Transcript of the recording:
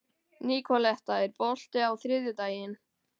Nikoletta, er bolti á þriðjudaginn?